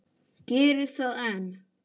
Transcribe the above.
Gerir það enn.